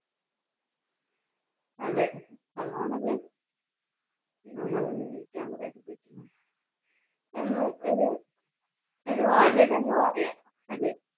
അതെ അതാണല്ലോ നമ്മളെ ജീവിക്കാൻ പ്രേരിപ്പിക്കുന്നത് എന്ന് ഒരു തിരുവാതിര എന്ന് പറയാം അല്ലേ?